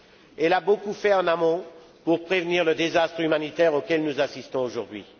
Elle a beaucoup fait en amont pour prévenir le désastre humanitaire auquel nous assistons aujourd'hui.